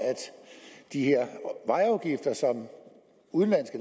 de her vejafgifter som udenlandske